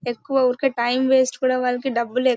ఎక్కువ ఊర్కే time waste కూడా వాళ్ళకి డబ్బులెక్ --